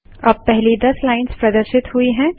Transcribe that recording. अब पहली दस लाइन्स प्रदर्शित हुई हैं